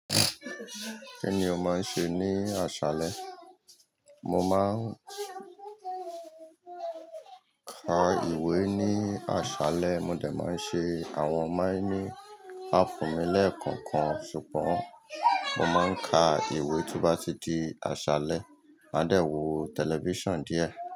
Kíni ó máa ń ṣe ní àṣálẹ́? Mo máa ń ka ìwé ní àṣálẹ́. Mo de máa ń ṣe àwọn mining app mi lẹ́ẹ̀kọ̀kan. Ṣùgbọ́n mo máa ń ka ìwé to ba tí di àṣálẹ́. Màá dẹ̀ wò tẹlifíṣàn díẹ̀.